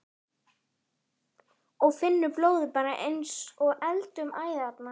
Og finnur blóðið fara eins og eld um æðarnar.